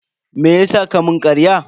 Meyasa ka mun karya?